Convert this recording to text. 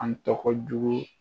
An tɔgɔ jugu ye